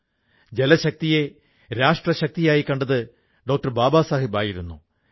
മംജൂർജിക്ക് ഇത് വളരെ ഗുണമുള്ളതാണെന്നു തോന്നി വരവ് നന്നായി വർധിക്കാനും തുടങ്ങി